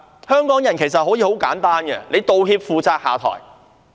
香港人其實很簡單，只要求有人道歉、負責、下台。